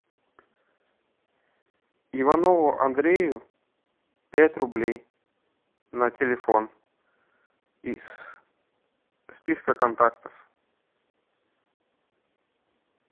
иванову андрею пять рублей на телефон из списка контактов